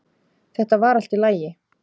Þetta var allt í lagi